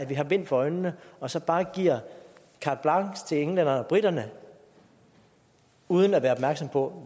vi har bind for øjnene og så bare giver carte blanche til englænderne og briterne uden at være opmærksom på